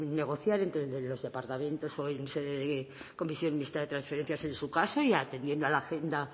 negociar entre los departamentos o en la comisión mixta de transferencias en su caso y atendiendo a la agenda